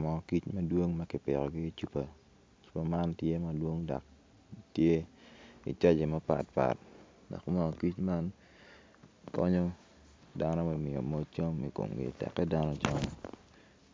Mo kic madwong makipito ki i cupa cupa man tye i saije mapat pat ma onyo kic man konyo dano me nongo cam ikomgi teke dano ojony